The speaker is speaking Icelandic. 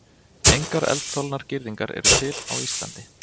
Engar eldþolnar girðingar eru til á Íslandi.